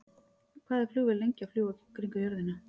Hvað er flugvél lengi að fljúga kringum jörðina?